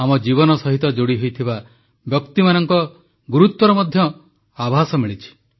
ଆମ ଜୀବନ ସହିତ ଯୋଡ଼ିହୋଇଥିବା ବ୍ୟକ୍ତିମାନଙ୍କ ଗୁରୁତ୍ୱର ମଧ୍ୟ ଆଭାସ ମିଳିଛି